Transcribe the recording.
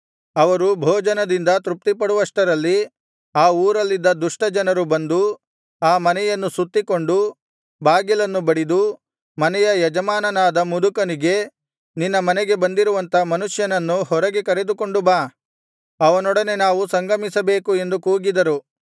ಅವರು ಭೋಜನದಿಂದ ತೃಪ್ತಿಪಡುವಷ್ಟರಲ್ಲಿ ಆ ಊರಲ್ಲಿದ್ದ ದುಷ್ಟ ಜನರು ಬಂದು ಆ ಮನೆಯನ್ನು ಸುತ್ತಿಕೊಂಡು ಬಾಗಿಲನ್ನು ಬಡಿದು ಮನೆಯ ಯಜಮಾನನಾದ ಮುದುಕನಿಗೆ ನಿನ್ನ ಮನೆಗೆ ಬಂದಿರುವಂಥ ಮನುಷ್ಯನನ್ನು ಹೊರಗೆ ಕರೆದುಕೊಂಡು ಬಾ ಅವನೊಡನೆ ನಾವು ಸಂಗಮಿಸಬೇಕು ಎಂದು ಕೂಗಿದರು